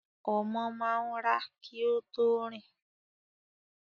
Ọmọ máa ń rà kí ó tó rìn